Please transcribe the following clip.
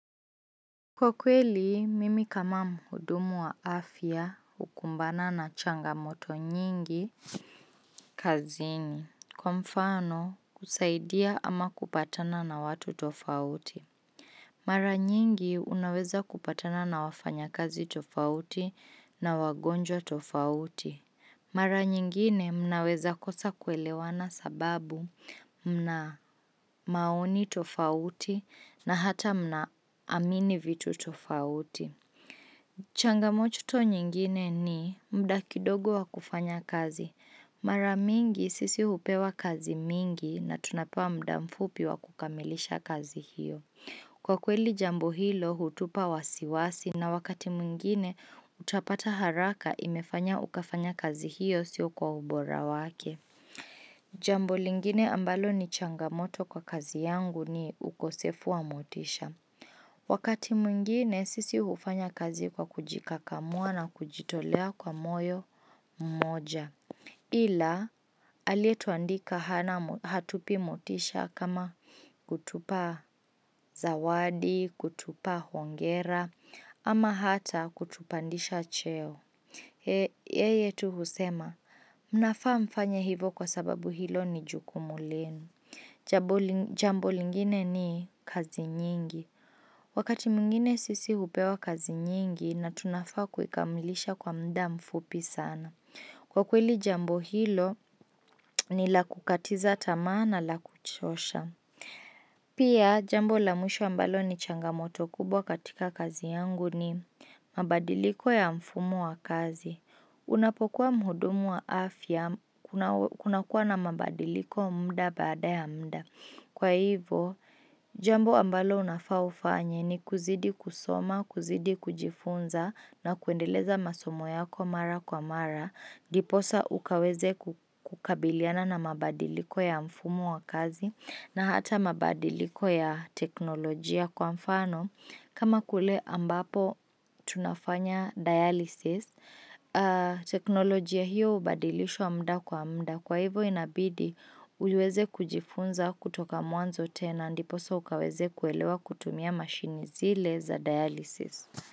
Kwa kweli, mimi kama mhudumu wa afya hukumbana na changamoto nyingi kazini. Kwa mfano, kusaidia ama kupatana na watu tofauti. Mara nyingi unaweza kupatana na wafanya kazi tofauti na wagonjwa tofauti. Mara nyingine mnaweza kosa kuelewana sababu mna maoni tofauti na hata mna amini vitu tofauti. Changamochuto nyingine ni mda kidogo wa kufanya kazi. Mara mingi sisi hupewa kazi mingi na tunapewa muda mfupi wa kukamilisha kazi hiyo. Kwa kweli jambo hilo hutupa wasiwasi na wakati mwigine utapata haraka imefanya ukafanya kazi hiyo siyo kwa ubora wake. Jambo lingine ambalo ni changamoto kwa kazi yangu ni ukosefu wa motisha. Wakati mwingine sisi hufanya kazi kwa kujikakamua na kujitolea kwa moyo mmoja. Ila, alietuandika hatupi mutisha kama kutupa zawadi, kutupa huongera, ama hata kutupandisha cheo. Yeye tu husema, mnafaa mfanya hivo kwa sababu hilo ni jukumu lenu. Jambo lingine ni kazi nyingi. Wakati mwingine sisi hupewa kazi nyingi na tunafaa kukamilisha kwa muda mfupi sana. Kwa kweli jambo hilo ni la kukatiza tamaa na la kuchosha. Pia jambo la mwisho ambalo ni changamoto kubwa katika kazi yangu ni mabadiliko ya mfumo wa kazi. Unapokuwa mhudumu wa afya kuna kuwa na mabadiliko muda bada ya muda. Kwa hivo, jambo ambalo unafa ufanye ni kuzidi kusoma, kuzidi kujifunza na kuendeleza masomo yako mara kwa mara, diposa ukaweze kukabiliana na mabadiliko ya mfumu wa kazi na hata mabadiliko ya teknolojia kwa mfano. Kama kule ambapo tunafanya dialysis, teknolojia hiyo hubadilishwa muda kwa muda. Kwa hivo inabidi uweze kujifunza kutoka mwanzo tena ndiposa ukaweze kuelewa kutumia mashini zile za dialysis.